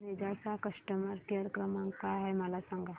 Ninja चा customer care क्रमांक काय आहे मला सांगा